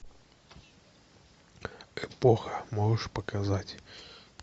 эпоха можешь показать